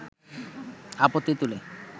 আপত্তি তুলে